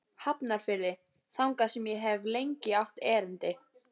Hafnarfirði, þangað sem ég hef lengi átt erindi.